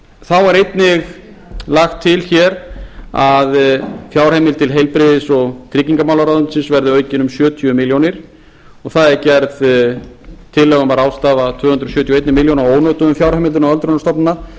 þá er einnig lagt til hér að fjárheimild til heilbrigðis og tryggingamálaráðuneytisins verði aukin um sjötíu milljónum króna og það er gerð tillaga um að ráðstafa tvö hundruð sjötíu og eina milljón króna af ónotuðum fjárheimildum til öldrunarstofnana til að koma